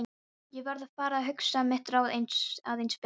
Ég varð að fara að hugsa mitt ráð aðeins betur.